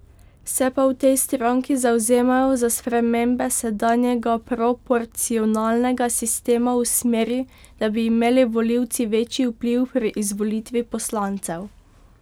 Se pa v tej stranki zavzemajo za spremembe sedanjega proporcionalnega sistema v smeri, da bi imeli volivci večji vpliv pri izvolitvi poslancev.